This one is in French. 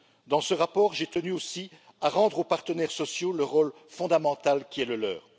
Dans ce rapport, j'ai tenu aussi à rendre aux partenaires sociaux le rôle fondamental qui est le leur.